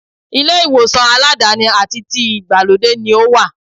Ilé ìwòsàn aládàáni àti ti ìgbàlódé ni ó wà.